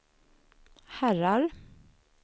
herrar